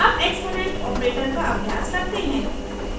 अब exponent operator का अभ्यास करते हैं